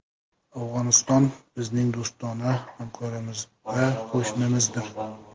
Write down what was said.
Afg‘oniston – bizning do‘stona hamkorimiz va qo‘shnimizdir.